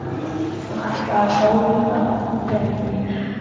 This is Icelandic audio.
Hann ætlaði að sólunda öllum peningunum.